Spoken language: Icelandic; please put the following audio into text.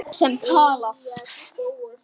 Sem talar.